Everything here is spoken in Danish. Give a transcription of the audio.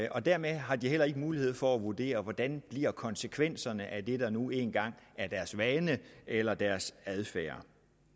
og dermed har de heller ikke mulighed for at vurdere hvordan konsekvenserne bliver af det der nu engang er deres vane eller deres adfærd